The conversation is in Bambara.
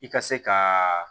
I ka se ka